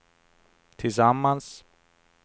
tillsammans